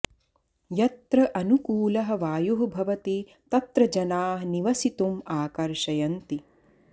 यत्र अनुकूलः वायुः भवति तत्र जनाः निवसितुम् आकर्षयन्ति